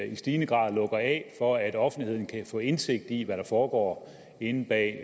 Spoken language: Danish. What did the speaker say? i stigende grad lukker af for at offentligheden kan få indsigt i hvad der foregår inde bag